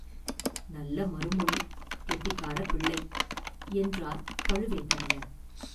“நல்ல மறுமொழி; கெட்டிக்காரப் பிள்ளை!: என்றார் பழுவேட்டரையர்.